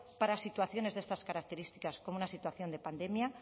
para situaciones de estas características como una situación de pandemia